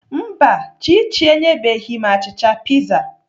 Mba, Chichi enyebeghị m achịcha piza.